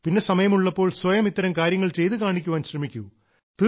പിന്നെ സമയമുള്ളപ്പോൾ സ്വയം ഇത്തരം കാര്യങ്ങൾ ചെയ്തു കാണിക്കാൻ ശ്രമിക്കൂ